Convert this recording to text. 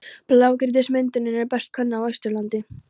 Blágrýtismyndunin er best könnuð á Austurlandi.